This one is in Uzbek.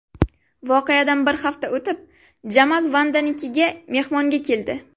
Voqeadan bir hafta o‘tib, Jamal Vandanikiga mehmonga keldi.